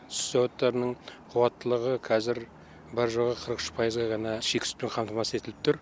сүт зауыттарының қуаттылығы қазір бар жоғы қырық үш пайызға ғана шикі сүтпен қамтамасыз етіліп тұр